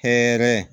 Hɛrɛ